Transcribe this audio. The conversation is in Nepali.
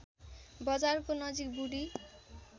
बजारको नजिक बुढी